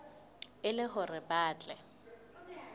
e le hore ba tle